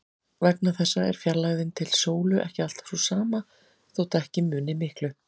Vegna þessa er fjarlægðin til sólu ekki alltaf sú sama, þótt ekki muni miklu.